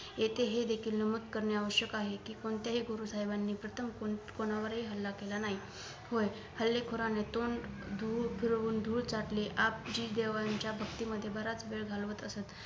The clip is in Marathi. येथे हे देखील नमूद करणे आवश्यक आहे कि कोणत्याही गुरु साहेबांनी प्रथम कुं कोणावर हि हल्ला केला नाही होय हल्लेखोरांनी तोंड धूळ फिरवून धूळ चाटली आप जी देवांच्या भक्ती मध्ये बराच वेळ घालवत असत